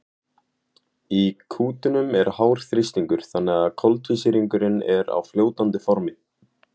í kútunum er hár þrýstingur þannig að koltvísýringurinn er á fljótandi formi